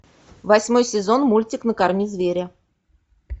восьмой сезон мультик накорми зверя